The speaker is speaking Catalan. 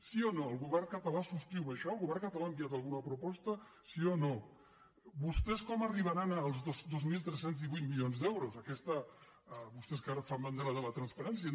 sí o no el govern català subscriu això el govern català ha enviat alguna proposta sí o no vostès com arribaran als dos mil tres cents i divuit milions d’euros vostès que ara fan bandera de la transparència